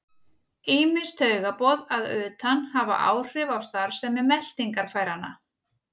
Ýmis taugaboð að utan hafa áhrif á starfsemi meltingarfæranna.